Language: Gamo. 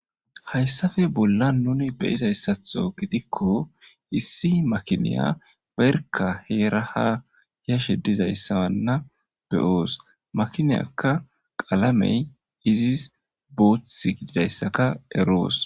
Hayssappe bollan nuni be7izayssatho gidikko issi makiniya heera haa yashe dizayssa be7oos. makinaza qalameykka boothikko.